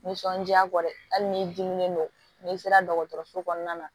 Nisɔndiya kɔ dɛ ali n'i dimilen don n'i sera dɔgɔtɔrɔso kɔnɔna na